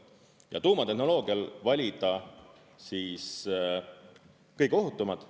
Ja tuumatehnoloogial valida siis kõige ohutumad.